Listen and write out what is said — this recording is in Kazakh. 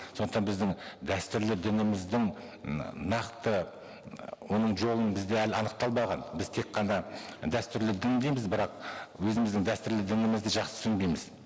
сондықтан біздің дәстүрлі дініміздің м нақты м оның жолы бізде әлі анықталмаған біз тек қана дәстүрлі дін дейміз бірақ өзіміздің дәстұрлі дінімізді жақсы түсінбейміз